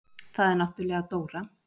Það er náttúrlega Dóra.